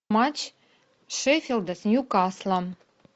матч шеффилда с ньюкаслом